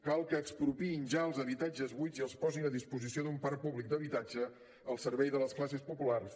cal que expropiïn ja els habitatges buits i els posin a disposició d’un parc públic d’habitatge al servei de les classes populars